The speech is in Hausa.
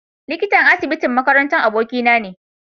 Likitan asibitin makaranta abokina ne.